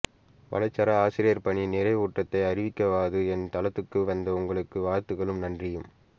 வலைச்சர ஆசிரியப் பணி நிறைவுற்றதை அறிவிக்கவாவது என் தளத்துக்கு வந்த உங்களுக்கு வாழ்த்துக்களும் நன்றியும்